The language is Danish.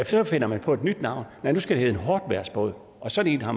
så finder man på et nyt navn og nu skal det hedde en hårdtvejrsbåd og sådan en har